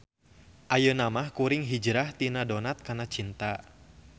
Ayeuna mah kuring Hijrah tina Donat kana CINTA.